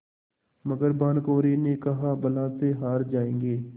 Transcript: मगर भानकुँवरि ने कहाबला से हार जाऍंगे